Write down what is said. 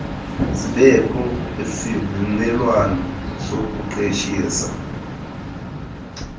zibekho kwisivumelwano sokuqeshisa